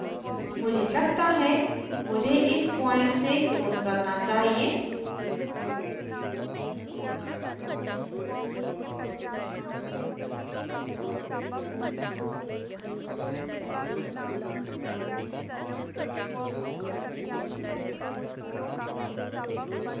मुझे लगता है मुझे इस point से clone करना चाहिए